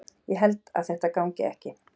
Ég held að þetta gangi ekki.